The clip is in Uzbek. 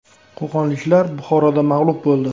Qo‘qonliklar Buxoroda mag‘lub bo‘ldi.